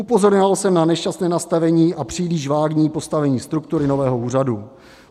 Upozorňoval jsem na nešťastné nastavení a příliš vágní postavení struktury nového úřadu.